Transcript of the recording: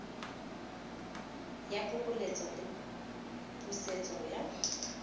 ya phokoletso le pusetso ya